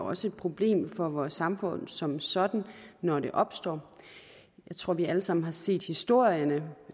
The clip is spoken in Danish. også et problem for vores samfund som sådan når det opstår jeg tror vi alle sammen har set historierne